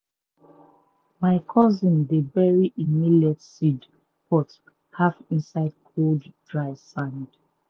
my cousin dey bury e millet seed pot half inside cold dry sand.